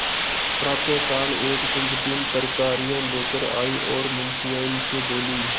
प्रातःकाल एक कुंजड़िन तरकारियॉँ लेकर आयी और मुंशियाइन से बोली